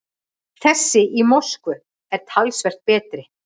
Þessi í Moskvu er talsvert betri.